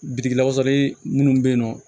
Bitigi lakawsali munnu be yen nɔ